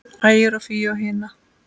Ægi og Fíu á hina.